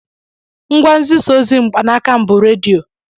Ngwa nzisaozi mkpanaka m bụ redio